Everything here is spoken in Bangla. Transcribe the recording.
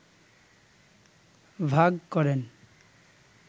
ভাগ করেন